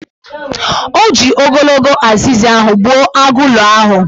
O ji ogologo azịza gbuo agụụlọ ahụ.